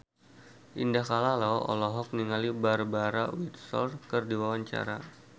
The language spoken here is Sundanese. Indah Kalalo olohok ningali Barbara Windsor keur diwawancara